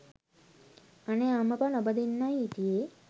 අනේ අම්මපා නොබදින්නයි හිටියේ